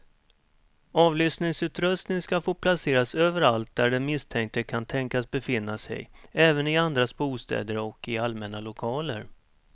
Avlyssningsutrustning ska få placeras överallt där den misstänkte kan tänkas befinna sig, även i andras bostäder och i allmänna lokaler.